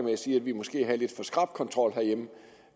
med at sige at vi måske har en lidt for skrap kontrol herhjemme